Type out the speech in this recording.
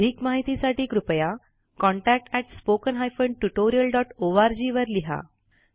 अधिक माहितीसाठी कृपया contactspoken tutorialorg वर लिहा